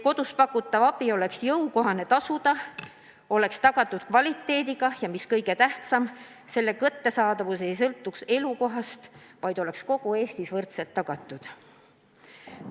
Kodus pakutav abi peab olema jõukohane tasuda, selle hea kvaliteet peab olema tagatud ja, mis kõige tähtsam, selle kättesaadavus ei tohi sõltuda elukohast, vaid peab olema kogu Eestis võrdselt tagatud.